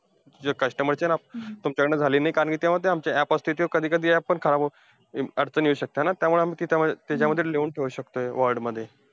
जे customer असता ना, तुमच्याकडनं झाले नाही. कारण कि तेव्हा आमचे ते app असतील कधी कधी app पण खराब होऊ अं अडचण येऊ शकते ना, त्याच्यामुळे आम्ही त्याच्यामध्ये ~त्याच्यामध्ये लिहून ठेऊ शकतोय word मध्ये.